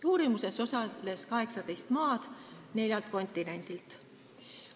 Uurimuses osales 18 maad neljast maailmajaost.